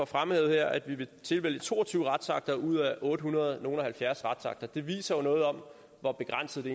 frem her at vi vil tilvælge to og tyve retsakter ud af ottehundrede og nogle og halvfjerds retsakter det viser jo noget om hvor begrænset det